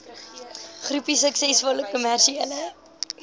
groepie suksesvolle kommersiële